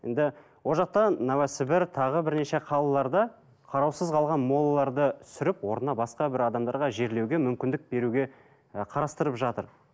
енді ол жақта новосібір тағы бірнеше қалаларда қараусыз қалған молаларды түсіріп орнына басқа бір адамдарға жерлеуге мүмкіндік беруге ы қарастырып жатыр